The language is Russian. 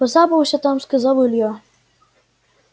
поцапался там сказал илья